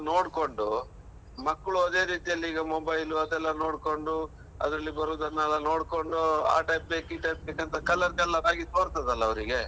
ನೋಡ್ಕೊಂಡು, ಮಕ್ಳು ಅದೇ ರೀತಿಯಲ್ಲೀಗ mobile ಅದೆಲ್ಲಾ ನೋಡ್ಕೊಂಡು, ಅದ್ರಲ್ಲಿ ಬರೋದನ್ನೆಲ್ಲ ನೋಡ್ಕೊಂಡು, ಆ type ಬೇಕು, ಈ type ಬೇಕಂತ colour colour ಆಗಿ ತೋರ್ತದಲ್ಲ ಅವರಿಗೆ.